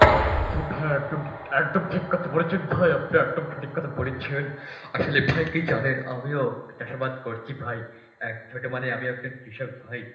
হ্যাঁ ভাই একদম ঠিক কথা বলেছেন, একদম ঠিক কথা বলেছেন ভাই আপনি একদম সঠিক কথা বলেছেন. আসলে ভাই কি জানেন আমিও চাষাবাদ করছি ভাই. এক ছোট মানে আমি আপনার কৃষক ভাই.